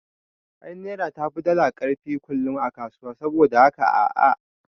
Ai naira tafi dala karfin kullum a kasuwa, saboda da haka a'a